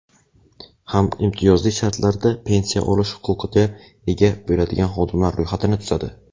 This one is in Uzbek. ham imtiyozli shartlarda pensiya olish huquqiga ega bo‘ladigan xodimlar ro‘yxatini tuzadi.